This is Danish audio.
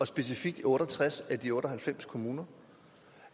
specifikt i otte og tres af de otte og halvfems kommuner